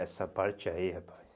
Essa parte aí, rapaz.